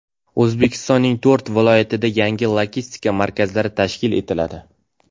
O‘zbekistonning to‘rt viloyatida yangi logistika markazlari tashkil etiladi.